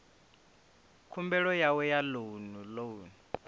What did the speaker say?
khumbelo yawe ya lounu ḽoan